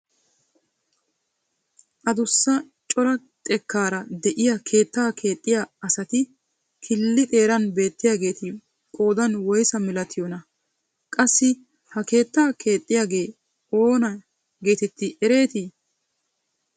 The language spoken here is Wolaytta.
Addussa cora xekkaara de'iyaa keettaa keexxiyaa asati killi xeeran beettiyaageeti qoodan woysa milatiyoonaa? qassi ha keettaa kexxisiyaagee oona getettii eretii?